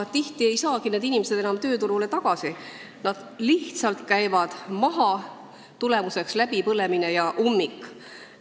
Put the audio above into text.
Tihti ei saagi need inimesed enam tööturule tagasi, nad lihtsalt käivad maha, tagajärjeks on läbipõlemine ja ummik.